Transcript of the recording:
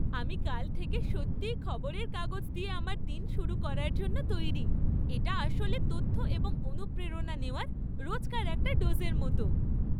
আমি কাল থেকে সত্যিই খবরের কাগজ দিয়ে আমার দিন শুরু করার জন্য তৈরি। এটা আসলে তথ্য এবং অনুপ্রেরণা নেওয়ার রোজকার একটা ডোজের মতো।